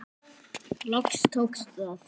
Loks tókst það.